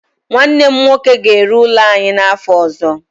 Nwanne m nwoke ga-ere ụlọ anyị n'afọ ọzọ.